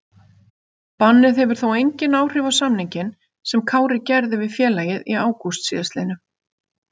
Bannið hefur þó engin áhrif á samninginn sem Kári gerði við félagið í ágúst síðastliðnum.